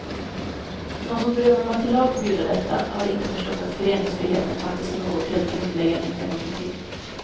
De som drömmer om att i lag förbjuda detta har inte förstått att föreningsfriheten faktiskt är något helt grundläggande i en demokrati.